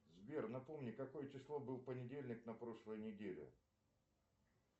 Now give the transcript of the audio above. сбер напомни какое число был понедельник на прошлой неделе